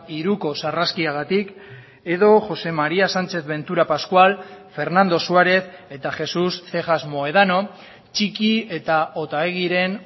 hiruko sarraskiagatik edo josé maría sánchez ventura pascual fernando suárez eta jesús cejas mohedano txiki eta otaegiren